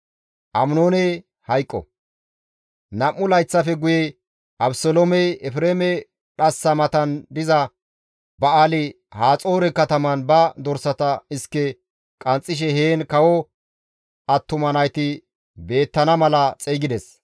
Nam7u layththafe guye Abeseloomey Efreeme dhassa matan diza Ba7aali-Haxoore kataman ba dorsata iske qanxxishe heen kawo attuma nayti beettana mala xeygides.